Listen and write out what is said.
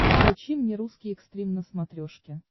включи мне русский экстрим на смотрешке